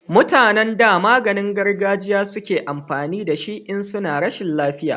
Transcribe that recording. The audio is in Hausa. mutanen da maganin gargajiya suke amfani da shi in suna rashin lafiya